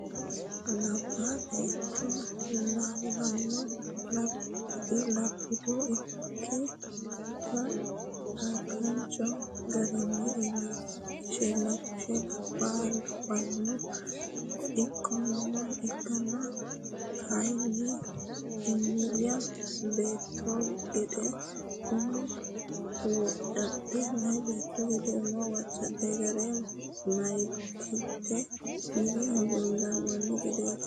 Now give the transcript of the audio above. Labba beetto lawano albido ikke kakkachino garinna illachishi labbaha lawano ikkonna kayinni meya beetto gede umo wocadhino gari meyatekka yine huluullamanni gedeti.